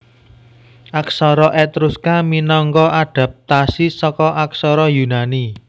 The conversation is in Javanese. Aksara Etruska minangka adapatasi saka aksara Yunani